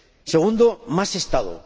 Segundo, más Estado.